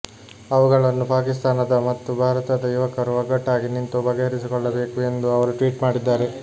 ಅವುಗಳನ್ನು ಪಾಕಿಸ್ತಾನದ ಮತ್ತು ಭಾರತದ ಯುವಕರು ಒಗ್ಗಟ್ಟಾಗಿ ನಿಂತು ಬಗೆಹರಿಸಿಕೊಳ್ಳಬೇಕು ಎಂದು ಅವರು ಟ್ವೀಟ್ ಮಾಡಿದ್ದಾರೆ